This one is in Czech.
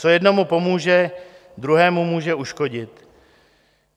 Co jednomu pomůže, druhému může uškodit.